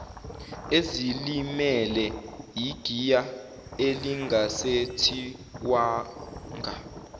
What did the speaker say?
ezilimele igiya elingasethiwanga